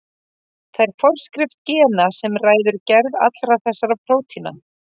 Það er forskrift gena sem ræður gerð allra þessara prótína.